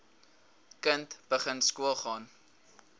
kind begin skoolgaan